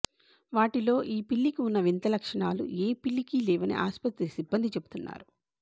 వాటిలో ఈ పిల్లికి ఉన్న వింత లక్షణాలు ఏ పిల్లికి లేవని ఆస్పత్రి సిబ్బంది చెబుతున్నారు